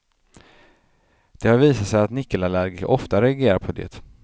Det har visat sig att nickelallergiker ofta reagerar på det.